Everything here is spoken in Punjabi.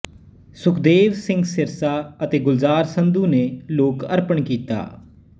ਸੁਖਦੇਵ ਸਿੰਗ ਸਿਰਸਾ ਅਤੇ ਗੁਲਜਾਰ ਸੰਧੂ ਨੇ ਲੋਕ ਅਰਪਣ ਕੀਤਾ